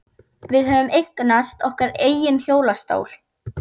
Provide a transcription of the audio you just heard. Við höfðum eignast okkar eigin hjólastól.